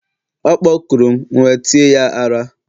ọ kpọkurum, m'we tie ya ara